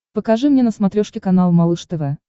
покажи мне на смотрешке канал малыш тв